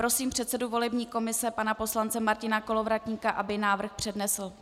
Prosím předsedu volební komise pana poslance Martina Kolovratníka, aby návrh přednesl.